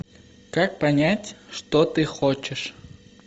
как понять что ты хочешь